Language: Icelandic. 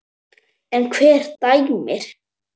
En hver dæmir?